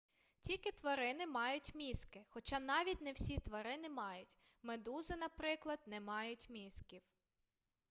тільки тварини мають мізки хоча навіть не всі тварини мають; медузи наприклад не мають мізків